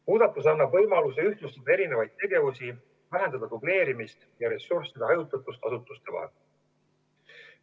Muudatus annab võimaluse eri tegevusi ühtlustada, vähendada dubleerimist ja ressursside hajutatust asutuste vahel.